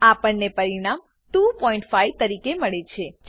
આપણને પરિણામ 25 તરીકે મળે છે